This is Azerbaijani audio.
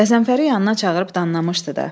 Qəzənfəri yanına çağırıb danlamışdı da.